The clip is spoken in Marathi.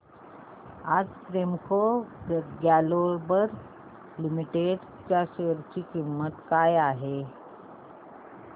आज प्रेमको ग्लोबल लिमिटेड च्या शेअर ची किंमत काय आहे